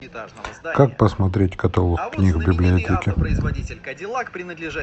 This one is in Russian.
как посмотреть каталог книг в библиотеке